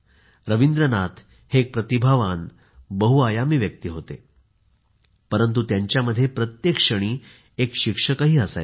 रवींद्रनाथ हे एक प्रतिभावान बहुआयामी व्यक्ती होते परंतु त्यांच्यामध्ये प्रत्येक क्षणी एक शिक्षक असायचा